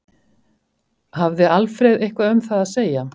Hafði Alfreð eitthvað um það að segja?